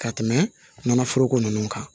Ka tɛmɛ nɔnɔforoko ninnu kan